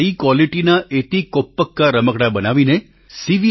સારી ક્વોલિટીના એતીકોપ્પકા રમકડાં બનાવીને સી